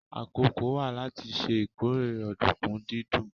Àkókò wà láti ṣe ìkórè ọ̀dùnkún dídún